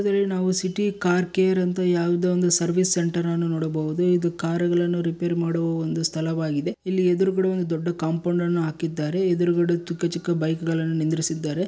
ಇದ್ರಲ್ಲಿ ನಾವು city car care ಅಂತ ಯಾವ್ದೋ ಒಂದು ಸರ್ವಿಸ್ ಸೆಂಟರ್ ಅನ್ನು ನೋಡಬಹುದು ಇದು ಕಾರುಗಳನ್ನು ರಿಪೇರಿ ಮಾಡುವ ಒಂದು ಸ್ಥಳವಾಗಿದೆ ಇಲ್ಲಿ ಎದ್ರುಗಡೆ ಒಂದು ದೊಡ್ದು ಕಾಂಪೌಂಡ್ ಅನ್ನು ಹಾಕಿದ್ದಾರೆ ಎದ್ರುಗಡೆ ತು ಚಿಕ್ಕ ಚಿಕ್ಕ ಬೈಕ್ಗಳನ್ನು ನಿಂದ್ರಿಸಿದ್ದಾರೆ.